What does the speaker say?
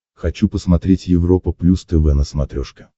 хочу посмотреть европа плюс тв на смотрешке